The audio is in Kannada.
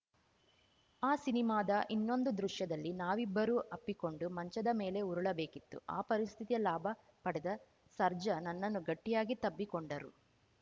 ಆ ಸಿನಿಮಾದ ಇನ್ನೊಂದು ದೃಶ್ಯದಲ್ಲಿ ನಾವಿಬ್ಬರೂ ಅಪ್ಪಿಕೊಂಡು ಮಂಚದ ಮೇಲೆ ಉರುಳಬೇಕಿತ್ತು ಆ ಪರಿಸ್ಥಿತಿಯ ಲಾಭ ಪಡೆದ ಸರ್ಜಾ ನನ್ನನ್ನು ಗಟ್ಟಿಯಾಗಿ ತಬ್ಬಿಕೊಂಡರು